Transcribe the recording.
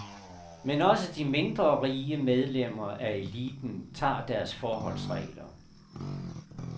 Men også de mindre rige medlemmer af eliten tager deres forholdsregler.